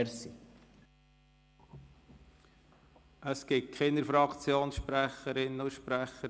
Wie ich sehe, gibt es keine weiteren Fraktionssprecherinnen und -sprecher.